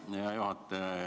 Hea juhataja!